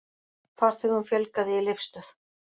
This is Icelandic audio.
Farþegum fjölgaði í Leifsstöð